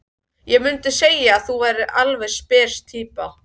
Ég mundi segja að þú værir alveg spes týpa.